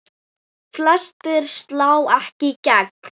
Flestir slá ekki í gegn.